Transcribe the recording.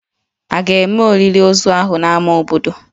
A ga-eme olili ozu ahụ n'ámá obodo?